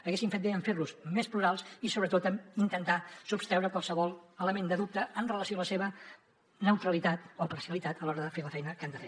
haguessin fet bé en fer los més plurals i sobretot en intentar sostreure qualsevol element de dubte amb relació a la seva neutralitat o parcialitat a l’hora de fer la feina que han de fer